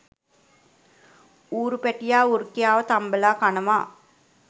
ඌරු පැටියා වෘකයාව තම්බලා කනවා